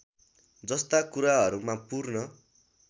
जस्ता कुराहरूमा पूर्ण